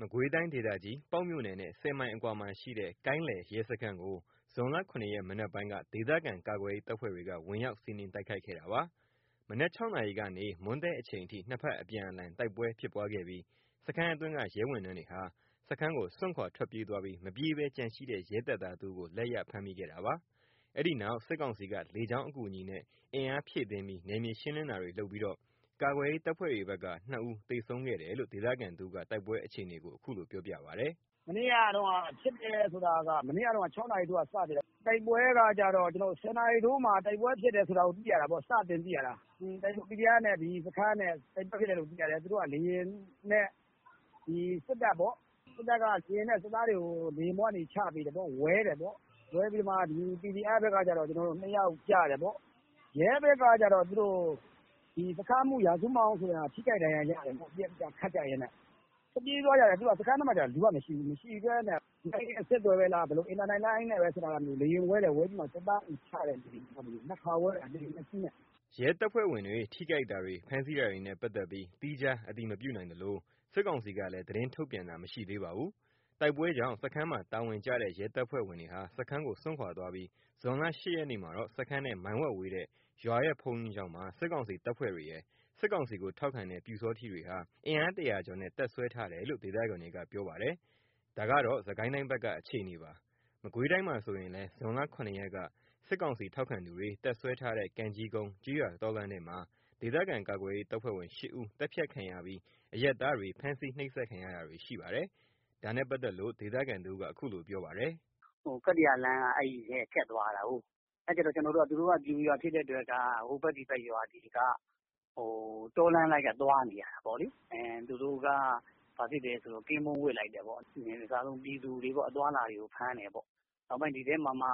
မကွေးတိုင်း ဒေသကြီး ပေါက်မြို့နယ်နဲ့ ၁၀ မိုင်အကွာမှာရှိတဲ့ ကိုင်းလယ် ရဲစခန်းကို ဇွန်လ ၇ ရက် မနက်ပိုင်းက ဒေသခံကာကွယ်ရေးတပ်ဖွဲ့တွေက ဝင်ရောက်စီးနင်းတိုက်ခိုက်ခဲ့တာပါ။ မနက် ၆ နာရီကနေ မွန်းတည့်အချိန်ထိ ၂ ဖက်အပြန်အလှန် တိုက်ပွဲဖြစ်ပွားခဲ့ပြီး စခန်းအတွင်းက ရဲဝန်ထမ်းတွေဟာ စခန်းကို စွန့်ခွါထွက်ပြေးသွားပြီး မပြေးဘဲ ကျန်ရှိတဲ့ ရဲတပ်သား တဦးကို လက်ရဖမ်းမိခဲ့တာပါ။ အဲ့ဒီနောက် စစ်ကောင်စီက လေကြောင်းအကူအညီနဲ့ အင်အား ဖြည့်တင်းပြီး နယ်မြေရှင်းလင်းတာတွေ လုပ်ပြီး ကာကွယ်ရေး တပ်ဖွဲ့တွေဘက်က ၂ ဦး သေဆုံးခဲ့တယ်လို့ ဒေသခံတဦးက တိုက်ပွဲအခြေအနေကို အခုလိုပြောပါတယ်။ “မနေ့ကတုန်းက ဖြစ်တယ်ဆိုတာက မနေ့က ၆ နာရီထိုးကနေစဖြစ်တာ။ ၁၀ နာရီထိုးမှာ တိုက်ပွဲဖြစ်တယ်ဆိုတာကို သိရတာပေါ့။ PDF နဲ့ စခန်းနဲ့ တိုက်ပွဲဖြစ်တယ်လို့သိရတယ်။ သူတို့က လေယာဉ်နဲ့ စစ်တပ်ပေါ့။ စစ်တပ်က လေယာဉ်နဲ့ စစ်သားတွေကို လေယာဉ်ပေါ်ကနေ ချပေးတယ်ပေါ့။ ဝဲတယ်ပေါ့။ ဝဲပြီးတော့ PDF ဘက်က ၂ ယောက်ကျတယ်ပေါ့။ ရဲဘက်ကကျတော့ စခန်းမှူး ရာဇူးမောင်ဆိုတဲ့ လူက ထိခိုက်ဒဏ်ရာရတယ်။ ပစ်ကြခတ်ကြရင်းနဲ့ ထွက်ပြေးသွားကြတယ်။ စခန်းထဲမှာက လူကမရှိဘူး။ လူကမရှိဘဲနဲ့ ဒီတိုင်း အဆက်အသွယ်ပဲလား အင်တာနက်လိုင်း နဲ့ပဲဆက်သွယ်တာလား လေယာဉ်ဝဲတယ်။ လေယာဉ်ဝဲပြီး စစ်သားချတယ်။ ၂ ခါဝဲတယ် ၂ စီးနဲ့။” ရဲတပ်ဖွဲ့ဝင်တွေ ထိခိုက်တာတွေ ဖမ်းဆီးတာတွေနဲ့ ပတ်သက်ပြီး သီးခြားအတည်မပြုနိုင်သလို စစ်ကောင်စီကလည်း သတင်းထုတ်ပြန်တာ မရှိသေးပါဘူး။ တိုက်ပွဲကြောင့် စခန်းမှာ တာဝန်ကျတဲ့ ရဲတပ်ဖွဲ့ဝင်တွေဟာ စခန်းကိုစွန့်ခွါသွားပြီး ဇွန် ၈ ရက်မှာတော့ စခန်းနဲ့ မိုင်ဝက်ဝေးတဲ့ ရွာရဲ့ ဘုန်းကြီးကျောင်းမှာ စစ်ကောင်စီတပ်ဖွဲ့ဝင်တွေရယ် စစ်ကောင်စီ ထောက်ခံတဲ့ ပျူစောထီးတွေဟာ အင်အား ၁၀၀ ကျော်နဲ့ တပ်စွဲထားတယ်လို့ ဒေသခံတွေက ပြောပါတယ်။ ဒါက မကွေးတိုင်း က အခြေအနေပါ။ စစ်ကိုင်းတိုင်းမှာ ဆိုရင်လည်း ဇွန်လ ၇ ရက်က စစ်ကောင်စီ ထောက်ခံသူတွေ တပ်စွဲထားတဲ့ ကံကြီးကုန်း ကျေးရွာ တောလမ်းထဲမှာ ဒေသခံကာကွယ်ရေး တပ်ဖွဲ့ဝင် ၈ ဦး သတ်ဖြတ်ခံရပြီး အရပ်သားတွေ ဖမ်းဆီးနှိပ်စက်ခံရတာရှိပါတယ်။ ဒါနဲ့ပတ်သက်လို့ ဒေသခံတဦးက အခုလိုပြောပါတယ်။ “ကတ္တရာလမ်းက အဲ့ထဲက ဖြတ်သွားရတာကို သူတို့ ပျူရွာဖြစ်တဲ့အတွက် ဟိုဘက်ဒီဘက်ရွာတွေက တောလမ်းလိုက်ပြီး သွားနေရတာပေါ့။ သူတို့က ကင်းပုန်းဝပ်လိုက်တယ်ပေါ့။ အစတော့ ပြည်သူတွေ အသွားအလာတွေကို ဖမ်းတယ်ပေါ့။ နောက်ပိုင်းဒီထဲမှာ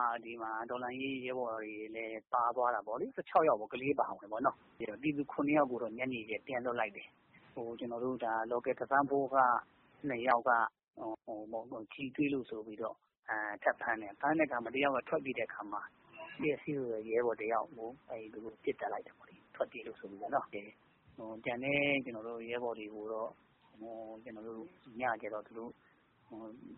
တော်လှန်ရေးရဲဘော်တွေလည်း ပါသွားတယ်ပေါ့လေ။ ကလေး အပါအဝင် ၁၆ ယောက်ပေါ့နော်။ ပြည်သူ ၇ ယောက် ကိုတော့ ညနေကျတော့ ပြန်လွှတ်လိုက်တယ်။ ကျွန်တော်တို့ Local Defence Force က ၂ ယောက်က ကျည်တွေ့လို့ဆိုပြီး ထပ်ဖမ်းတယ်။ ဖမ်းပြီးတော့ တယောက်က ထွက်ပြေးတဲ့အခါမှာ ရဲဘော်တယောက်ကို ပစ်သတ်လိုက်တယ်ပေါ့လေ။ ထွက်ပြေးလို့ဆိုပြီး။ ကျန်တဲ့ရဲဘော်တွေကိုတော့ ညကျတော့ သူတို့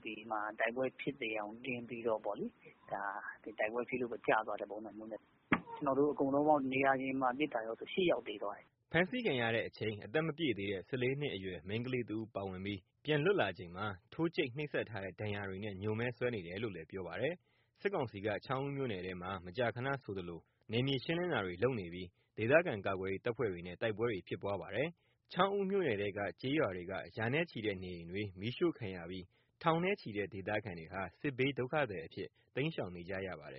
ဒီမှာ တိုက်ပွဲဖြစ်သယောင်တင်ပြီးတော့ တိုက်ပွဲဖြစ်ပြီး ကျသွားတဲ့ ပုံစံမျိုးနဲ့ပေါ့။ ကျွန်တော်တို့ အကုန်လုံး နေရာတင်မှာပစ်တာကောဆို ၈ ယောက်သေသွားတယ်။” ဖမ်းဆီးခံရချိန် အသက် မပြည့်သေးတဲ့ ၁၄ နှစ်အရွယ် မိန်းကလေး တဦး ပါဝင်ပြီး ပြန်လွတ်လာချိန်မှာ ထိုးကြိတ်နှိပ်စက်ထားတဲ့ ဒဏ်ရာတွေနဲ့ ညိုမဲစွဲနေတယ်လို့လည်း ပြောပါတယ်။ စစ်ကောင်စီက ချောင်းဦးမြို့နယ်ထဲမှာ မကြာခဏဆိုသလို နယ်မြေရှင်းလင်းတာတွေလုပ်ပြီး ဒေသခံကာကွယ်ရေး တပ်ဖွဲ့တွေနဲ့ တိုက်ပွဲတွေဖြစ်ပွားပါတယ်။ ချောင်းဦးမြို့နယ်ထဲက ကျေးရွာတွေက ရာနဲ့ချီတဲ့ နေအိမ်တွေ မီးရှို့ခံရပြီး ထောင်နဲ့ချီတဲ့ ဒေသခံတွေဟာ စစ်ဘေးဒုက္ခသည်အဖြစ် တိမ်းရှောင်နေရပါတယ်